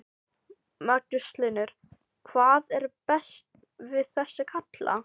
Magnús Hlynur: Hvað er best við þessa kalla?